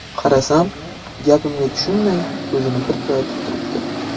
Qarasam, gapimga tushunmay ko‘zini pirpiratib turibdi.